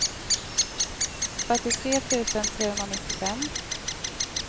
fyrtiotre tusen trehundranittiofem